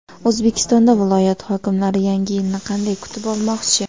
O‘zbekistonda viloyat hokimlari Yangi yilni qanday kutib olmoqchi?.